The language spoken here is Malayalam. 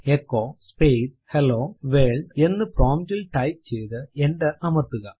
എച്ചോ സ്പേസ് ഹെല്ലോ വർൾഡ് എന്ന് പ്രോംപ്റ്റ് ൽ ടൈപ്പ് ചെയ്തു എന്റർ അമർത്തുക